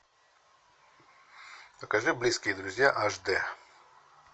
покажи близкие друзья аш д